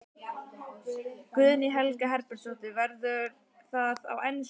Guðný Helga Herbertsdóttir: Verður það á ensku?